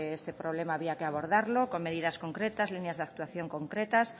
este problema había que abordarlo con medidas concretas líneas de actuación concretas